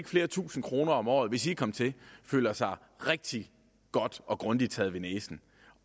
flere tusinde kroner om året hvis i kom til føler sig rigtig godt og grundigt taget ved næsen